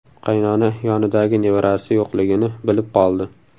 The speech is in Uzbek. Qaynona yonidagi nevarasi yo‘qligini bilib qoldi.